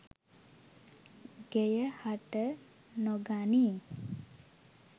ගෙය හට නොගනියි.